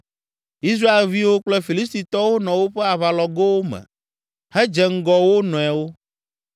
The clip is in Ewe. Israelviwo kple Filistitɔwo nɔ woƒe aʋalɔgowo me hedze ŋgɔ wo nɔewo.